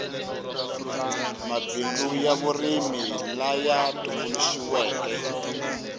mabindzu ya vurimi laya tumbuluxiweke